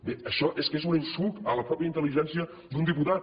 bé això és que és un insult a la mateixa intel·ligència d’un diputat